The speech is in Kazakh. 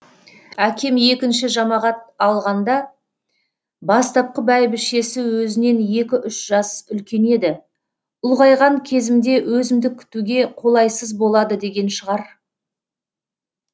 әкем екінші жамағат алғаңда бастапқы бәйбішесі өзінен екі үш жас үлкен еді ұлғайған кезімде өзімді күтуге қолайсыз болады деген шығар